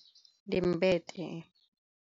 Ndi mbete.